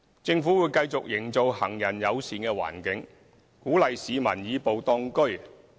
政府會繼續營造行人友善環境，鼓勵市民"以步當車"。